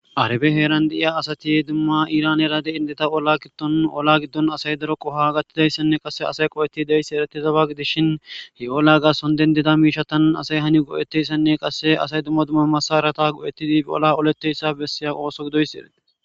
arabe heeran de7iya asati dumma iranera de indeta oola gittonun ola giddon asay daro qoho gattidayssenne qasse asay qo7eti deyssi eretizaba gidishin he ola gasson dendida miisha tanan asay hani goo7eteyssenne qasse asay dumma dumma masarata qo7etidibi ola oletteyssa bessiya qooso gidoyssi erei